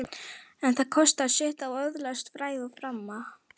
En það kostar sitt að öðlast frægð og frama.